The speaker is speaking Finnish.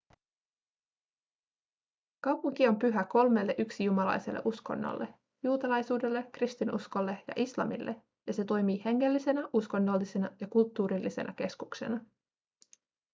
kaupunki on pyhä kolmelle yksijumalaiselle uskonnolle juutalaisuudelle kristinuskolle ja islamille ja se toimii hengellisenä uskonnollisena ja kulttuurillisena keskuksena